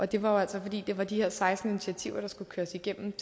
det var jo altså fordi det var de her seksten initiativer der skulle køres igennem